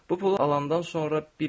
Bu pulu alandan sonra bir iş görəcəkdim.